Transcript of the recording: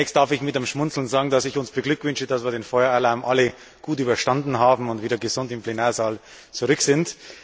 Zunächst darf ich mit einem Schmunzeln sagen, dass ich uns beglückwünsche, dass wir den Feueralarm alle gut überstanden haben und wieder gesund im Plenarsaal zurück sind.